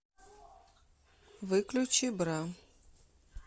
выключи бра